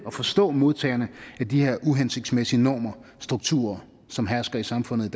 og forstå modtagerne af de her uhensigtsmæssige normer og strukturer som hersker i samfundet